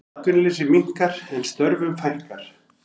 Atvinnuleysi minnkar en störfum fækkar